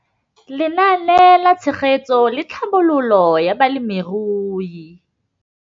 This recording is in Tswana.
Lenaane la Tshegetso le Tlhabololo ya Balemirui